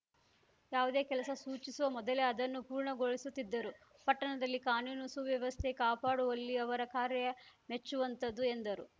ಯಾವುದೇ ಕೆಲಸ ಸೂಚಿಸುವ ಮೊದಲೇ ಅದನ್ನು ಪೂರ್ಣಗೊಳಿಸುತ್ತಿದ್ದರು ಪಟ್ಟಣದಲ್ಲಿ ಕಾನೂನು ಸುವ್ಯವಸ್ಥೆ ಕಾಪಾಡುವಲ್ಲಿ ಅವರ ಕಾರ್ಯ ಮೆಚ್ಚುವಂತದ್ದು ಎಂದರು